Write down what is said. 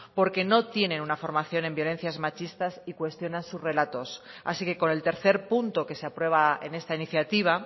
porque no tiene una formación en violencias machistas y cuestionan sus relatos así que con el tercer punto que se aprueba en esta iniciativa